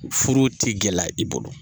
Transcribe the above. Furu t'i gɛlɛya i bolo.